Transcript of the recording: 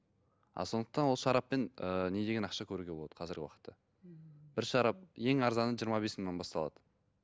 а сондықтан ол шараппен ыыы не деген ақша көруге болады қазір уақытта бір шарап ең арзаны жиырма бес мыңнан басталады